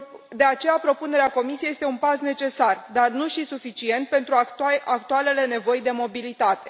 De aceea, propunerea Comisie este un pas necesar, dar nu și suficient, pentru actualele nevoi de mobilitate.